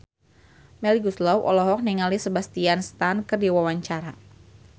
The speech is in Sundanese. Melly Goeslaw olohok ningali Sebastian Stan keur diwawancara